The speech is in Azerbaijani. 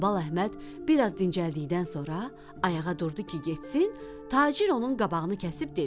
Hambal Əhməd biraz dincəldikdən sonra ayağa durdu ki, getsin, tacir onun qabağını kəsib dedi: